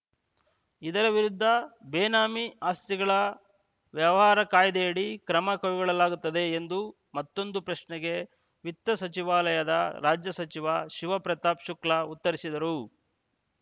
ಇದರ ವಿರುದ್ಧ ಬೇನಾಮಿ ಆಸ್ತಿಗಳ ವ್ಯವಹಾರ ಕಾಯ್ದೆಯಡಿ ಕ್ರಮ ಕೈಗೊಳ್ಳಲಾಗುತ್ತದೆ ಎಂದು ಮತ್ತೊಂದು ಪ್ರಶ್ನೆಗೆ ವಿತ್ತ ಸಚಿವಾಲಯದ ರಾಜ್ಯ ಸಚಿವ ಶಿವ ಪ್ರತಾಪ್‌ ಶುಕ್ಲಾ ಉತ್ತರಿಸಿದರು